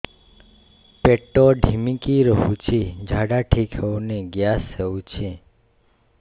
ପେଟ ଢିମିକି ରହୁଛି ଝାଡା ଠିକ୍ ହଉନି ଗ୍ୟାସ ହଉଚି